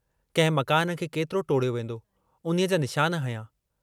कंहिं मकान खे केतिरो टोड़ियो वेन्दो, उन्हीअ जा निशान हंया।